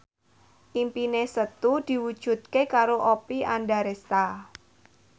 impine Setu diwujudke karo Oppie Andaresta